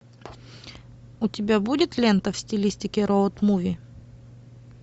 у тебя будет лента в стилистике роуд муви